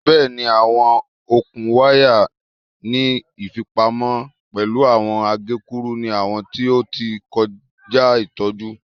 Bẹẹni, awọn okun waya ni ifipamo pẹlu awọn agekuru ni awọn ti o ti kọja itọju